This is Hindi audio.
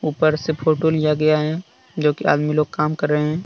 ऊपर से पोटो लिया गया है जो कि आदमी लोग काम कर रहे हैं ।